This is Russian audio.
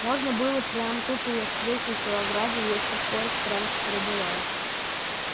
можно было бы прямо тут её встретить у ограды если б поезд раньше прибывал